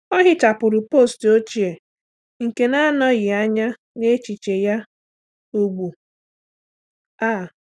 Ọ́ hìchàpụ̀rụ̀ post ochie nke nà-ànọ́ghị́ ányá n’echiche ya ugbu a.